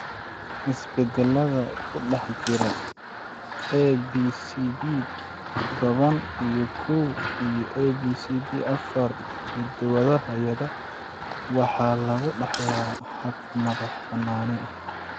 Isbeddellada ku dhex jira ABCB toban iyo kow iyo ABCB afar hiddo-wadaha (yada) waxa lagu dhaxlaa hab madax-bannaani ah.